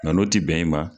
Nka n'o ti bɛn i ma